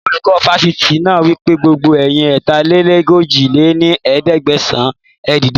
Olùkọ́ Fásitì náà wípé, gbogbo ẹ̀yin ẹ̀ta-lé-ní-ojì lé ní ẹ̀ẹ́dẹ́gbẹ́sán, ẹ dìde